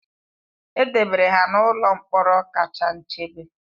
E debere ha n'ụlọ mkpọrọ kacha nchebe